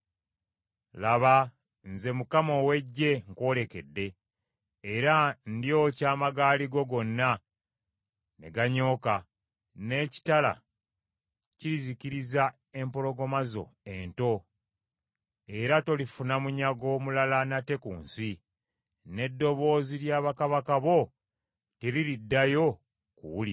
“Laba nze Mukama ow’Eggye nkwolekedde, era ndyokya amagaali go gonna ne ganyooka, n’ekitala kirizikiriza empologoma zo ento. Era tolifuna munyago mulala nate ku nsi, n’eddoboozi ly’ababaka bo teririddayo kuwulirwa.”